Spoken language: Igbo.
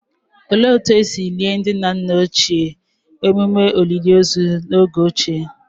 Olee otú e si lie ndị nna ochie ememe olili ozu n'oge ochie?